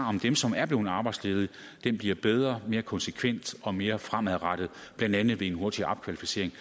om dem som er blevet arbejdsledige bliver bedre mere konsekvent og mere fremadrettet blandt andet ved en hurtigere opkvalificering